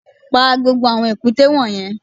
Pa gbogbo àwọn èkúté wọ̀nyẹn